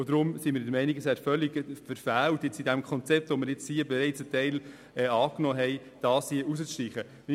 Deshalb wäre es völlig verfehlt, in diesem Konzept, von dem ein Teil bereits angenommen wurde, diesen Punkt hier zu streichen.